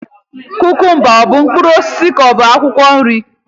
Kukumba ọ bụ mkpụrụ osisi ka ọ bụ akwukwo nri?